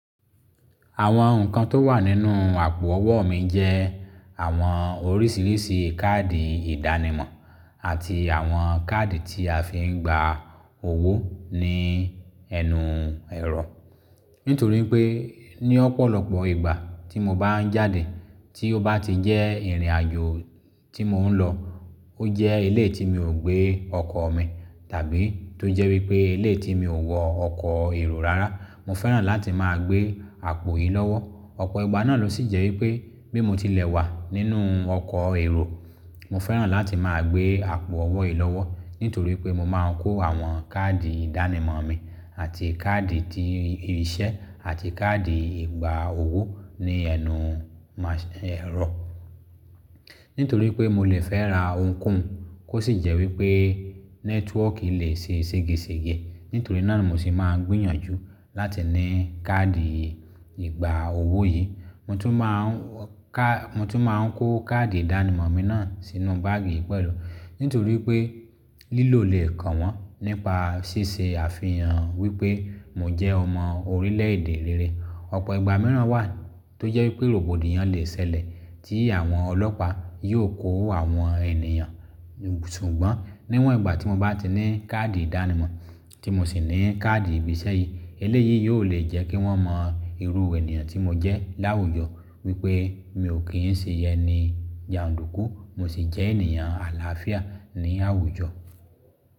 Àwọn nǹkan tó wà nínú àpò ọwọ́ mi jẹ́ àwọn oríṣiríṣi káàdì ìdánimọ̀ àti àwọn káàdì tí a fi ń gba owó ní ẹnu ẹ̀rọ. Nítorí pé ní ọ̀pọ̀lọpọ̀ ìgbà tí mo bá ń jáde tí ó bá ti jẹ́ ìrìnàjò tí mò ń lọ, ó jẹ́ eleyi tí mi ò gbé ọkọ̀ mi tàbí tó jẹ́ wípé ilé tí mi ò wọ ọkọ̀ èrò rárá, mo fẹ́ràn láti máa gbé àpò yìí lọ́wọ́. Ọ̀pọ̀ ìgbà náà ló sì jẹ́ wípé bí mo ti lẹ̀ wà nínú ọkọ̀ èrò, mo fẹ́ràn láti máa gbé àpò ọwọ́ yìí lọ́wọ́. Nítorí pé mo máa ń kó àwọn káàdì ìdánimọ̀ mi àti káàdì tí irinṣẹ́ àti káàdì ìgbà owó ní ẹnu ẹ̀rọ. Nítorí pé mo lè fẹ́ ra ohunkóhun, kó sì jẹ́ wípé nẹ́tíwọ̀ọ́kì lè ṣe ségesège. Nítorí náà ni mo sì máa ń gbìyànjú láti ní káàdì ìgbà owó yìí. Mo tún máa ń ka-- mo tún máa ń kó káàdì ìdánimọ̀ mi náà sínú báàgì pẹ̀lú. Nítorí pé lílò lè kàn wọ́n nípa ṣíṣe àfihàn wípé mo jẹ́ ọmọ orílẹ̀èdè rere. Ọ̀pọ̀ ìgbà mìíràn wà tó jẹ́ wípé rògbòdìyàn lè ṣẹlẹ̀ tí àwọn ọlọ́pàá yóò kó àwọn ènìyàn. Ṣùgbọ́n níwọ̀n ìgbà tí mo bá ti ní káàdì ìdánimọ̀ tí mo sì ní káàdì ìbí isẹ́ yìí, eléyìí yóò lè jẹ́ kí wọ́n mọ irú ènìyàn tí mo jẹ́ láwùjọ wípé mi ò kí ń ṣe ẹni jàndùkú, mo sì jẹ́ ènìyàn àlàáfíà ní àwùjọ.